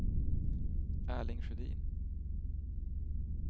Erling Sjödin